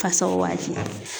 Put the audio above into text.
Fasaw waati.